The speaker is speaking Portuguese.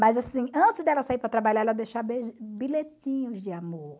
Mas assim, antes dela sair para trabalhar, ela bilhetinhos de amor.